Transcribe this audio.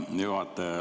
Hea juhataja!